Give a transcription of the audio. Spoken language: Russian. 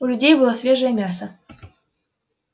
у людей было свежее мясо